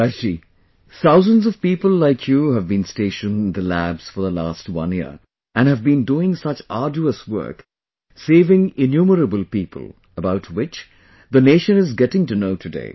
Prakash ji, thousands of people like you have been stationed in the labs for the last one year and have been doing such arduous work, saving innumerable people, about which the nation is getting to know today